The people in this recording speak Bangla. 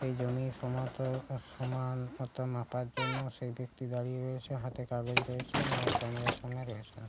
এই জমি সমান মত মাপার জন্য সেই ব্যাক্তি দাঁড়িয়ে রয়েছে হাতে কাগজ রয়েছে উনার ক্যামেরা এর সামনে রয়েছেন।